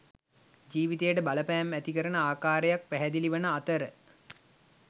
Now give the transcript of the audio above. ජීවිතයට බලපෑම් ඇති කරන ආකාරයක් පැහැදිලි වන අතර